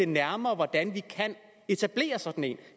nærmere hvordan vi kan etablere sådan en